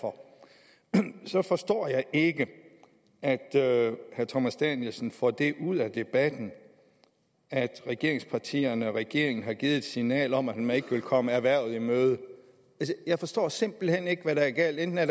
for så forstår jeg ikke at herre thomas danielsen får det ud af debatten at regeringspartierne og regeringen har givet et signal om at man ikke vil komme erhvervet i møde jeg forstår simpelt hen ikke hvad der er galt enten er